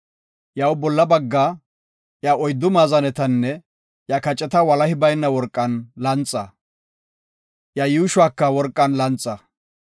Iyaw bolla baggaa, iya oyddu maazanetanne iya kaceta walahi bayna worqan lanxa. Iya yuushuwaka worqan lanxa.